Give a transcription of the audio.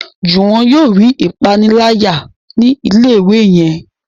Juwon yóò rí ìpaniláyà ni ilé ìwé yén.